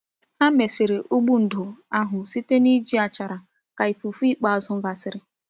Ha mesiri ụgbụ ndò ahụ site na iji achara ka ifufe ikpeazụ gasịrị.